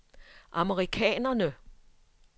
amerikanerne